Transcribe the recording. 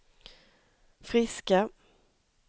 friska